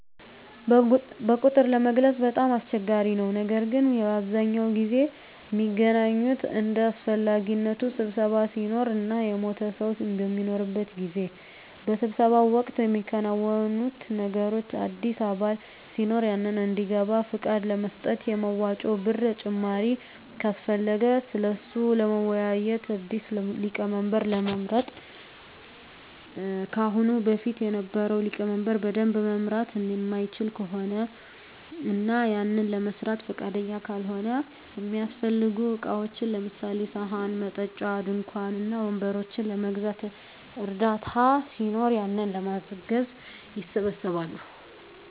በቁጥር ለመግለፅ በጣም አስቸጋሪ ነው ነገር ግን በአብዛኛው ጊዜ ሚገናኙት እንደ አሰፈላጊነቱ ስብሰባ ሲኖር እና የሞተ ሰው በሚኖርበት ጊዜ። በስብሰባው ወቅት ሚከናወኑት ነገሮች አዲስ አባል ሲኖር ያንን እንዲገባ ፍቃድ ለመስጠት፣ የመዋጮ ብር ጭማሪ ካሰፈለገ ስለሱ ለመወያዬት፣ አዲስ ሊቀመንበር ለመምረጥ ከአሁን በፊት የነበረው ሊቀመንበር በደንብ መምራት ማይችል ከሆነ እና ያንን ለመስራት ፍቃደኛ ካልሆነ፣ እሚያሰፈልጉ እቃዎችን ለምሳሌ፦ ሰሀን፣ መጠጫ፣ ድንኳን እና ወንበሮችን ለመግዛት እና እርዳታ ሲኖር ያንን ለማገዝ ይሰባሰባሉ።